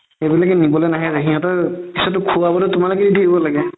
সেইবিলাকে নিবলৈ নাহে যে সিহতৰ খুৱাতো তোমালোকেয়ে দিব লাগে